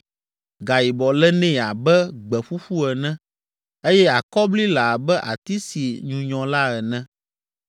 Gayibɔ le nɛ abe gbe ƒuƒu ene eye akɔbli le abe ati si nyunyɔ la ene.